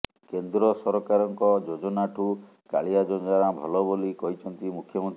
କେନ୍ଦ୍ର ସରକାରଙ୍କ ଯୋଜନାଠୁ କାଳିଆ ଯୋଜନା ଭଲ ବୋଲି କହିଛନ୍ତି ମୁଖ୍ୟମନ୍ତ୍ରୀ